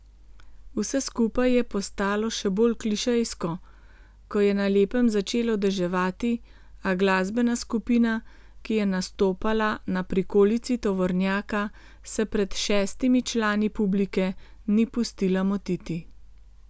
Vse skupaj je postalo še bolj klišejsko, ko je na lepem začelo deževati, a glasbena skupina, ki je nastopala na prikolici tovornjaka, se pred šestimi člani publike ni pustila motiti.